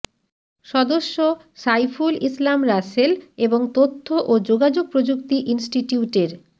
সদস্য সাইফুল ইসলাম রাসেল এবং তথ্য ও যোগাযোগ প্রযুক্তি ইনস্টিটিউটের